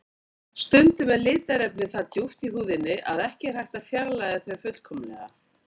Stundum eru litarefnin það djúpt í húðinni að ekki er hægt að fjarlægja þau fullkomlega.